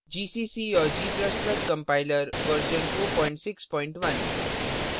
gcc और g ++ compiler version 461